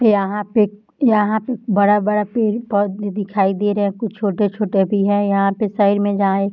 यहाँ पे एक यहाँ पे एक बड़ा-बड़ा पेड़-पौधे दिखाई दे रहे है। कुछ-कुछ छोटे भी है यहाँ पे साइड में जहाँ एक--